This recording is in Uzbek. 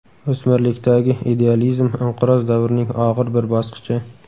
o‘smirlikdagi idealizm inqiroz davrining og‘ir bir bosqichi.